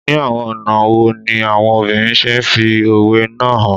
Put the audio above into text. Ni awọn ọna wo ni awọn obinrin ṣe fi owe naa han